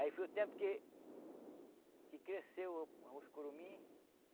Aí foi o tempo que que cresceu os curumim.